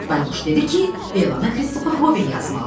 Nəhayət bayquş dedi ki, elanı Kristofer Robin yazmalıdır.